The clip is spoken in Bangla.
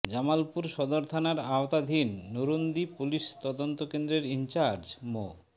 জামালপুর সদর থানার আওতাধীন নরুন্দি পুলিশ তদন্ত কেন্দ্রের ইনচার্জ মো